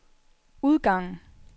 udgangen